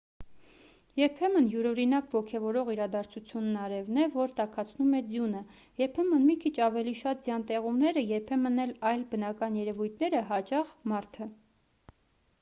երբեմն յուրօրինակ ոգևորող իրադարձությունն արևն է որ տաքացնում է ձյունը երբեմն մի քիչ ավելի շատ ձյան տեղումները երբեմն էլ այլ բնական երևույթները հաճախ մարդը